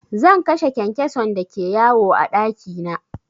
Zan kashe kyankyason da ke yawo a ɗaki na.